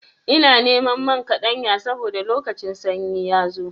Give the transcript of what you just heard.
Ina neman man kaɗanya saboda lokacin sanyi ya zo.